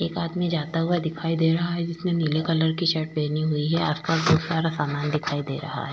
एक आदमी जाता हुआ दिखाई दे रहा है जिसने नीले कलर की शर्ट पहनी हुई है आसपास जो सारा सामान दिखाई दे रहा है।